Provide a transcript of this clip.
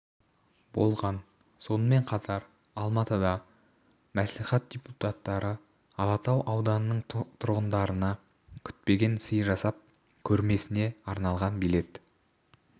болған сонымен қатар алматыда мәслихат депутаттары алатау ауданының тұрғындарына күтпеген сый жасап көрмесіне арналған билет